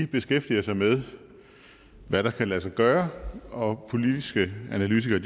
beskæftiger sig med hvad der kan lade sig gøre og politiske analytikere